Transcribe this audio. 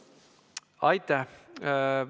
Aitäh!